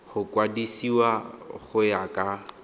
go kwadisiwa go ya ka